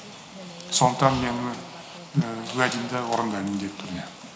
сондықтан мен уәдемді орындаймын міндетті түрде